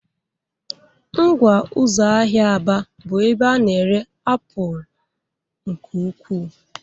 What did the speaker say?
Ngwa ụzọ ahịa Aba bụ ebe a na-ere apụl nke ukwuu.